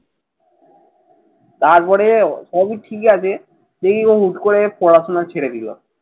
তারপরে সবই ঠিকই আছে। সেই ও হুট করে পড়াশোনা ছেড়ে দিল।